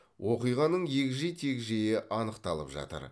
оқиғаның егжей тегжейі анықталып жатыр